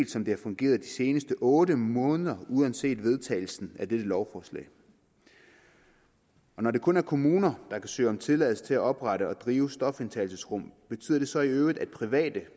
som det har fungeret de seneste otte måneder uanset vedtagelsen af dette lovforslag når det kun er kommuner der kan søge om tilladelse til at oprette og drive stofindtagelsesrum betyder det så i øvrigt at private